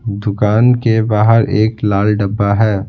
दुकान के बाहर एक लाल डब्बा है।